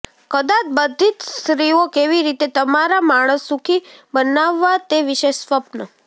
કદાચ બધી જ સ્ત્રીઓ કેવી રીતે તમારા માણસ સુખી બનાવવા તે વિશે સ્વપ્ન